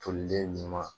Tolilen ɲuman